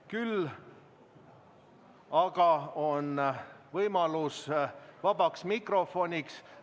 Küll aga on vaba mikrofoni võimalus.